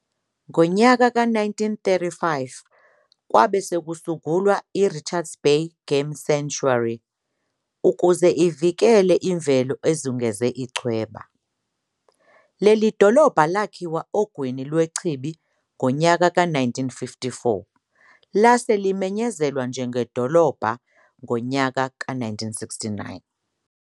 Ngonyaka ka-1935 kwabe sekusungulwa i-Richards Bay Game Sanctuary ukuze ivikele imvelo ezungeze ichweba. Leli dolobha lakhiwa ogwini lwechibi ngonyaka ka-1954 lase limenyezelwa njengedolobha ngonyaka ka-1969.